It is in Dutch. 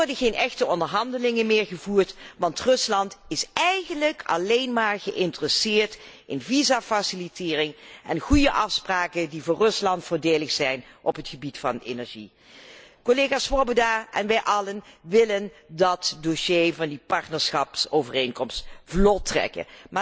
Er worden geen echte onderhandelingen meer gevoerd, want Rusland is eigenlijk alleen maar geïnteresseerd in visafacilitering en goede afspraken die voor Rusland voordelig zijn op het gebied van energie. Collega Swoboda en wij allen willen dat dossier van die partnerschapsovereenkomst vlot trekken.